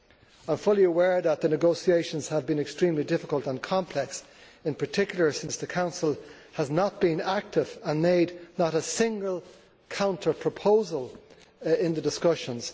I am fully aware that the negotiations have been extremely difficult and complex, in particular since the Council has not been active and made not a single counter proposal in the discussions.